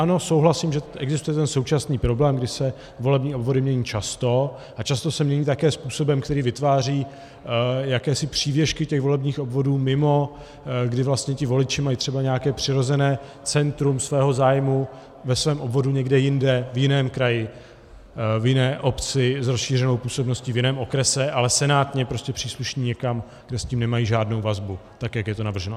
Ano, souhlasím, že existuje ten současný problém, kdy se volební obvody mění často, a často se mění také způsobem, který vytváří jakési přívěšky těch volebních obvodů mimo, kdy vlastně ti voliči mají třeba nějaké přirozené centrum svého zájmu ve svém obvodu někde jinde, v jiném kraji, v jiné obci s rozšířenou působností, v jiném okrese, ale senátně prostě přísluší někam, kde s tím nemají žádnou vazbu, tak jak je to navrženo.